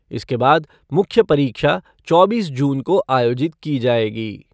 इसके बाद मुख्य परीक्षा चौबीस जून को आयोजित की जायेगी।